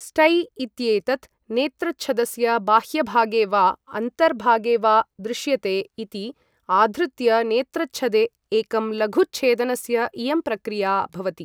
स्टै इत्येतत् नेत्रच्छदस्य बाह्यभागे वा अन्तर्भागे वा दृश्यते इति आधृत्य, नेत्रच्छदे एकं लघुच्छेदनस्य इयं प्रक्रिया भवति।